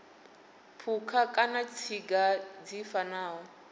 phukha kana tsinga dzi fanaho